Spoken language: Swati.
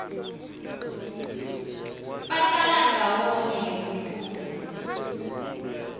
bahlala ndzawonye ngekuthula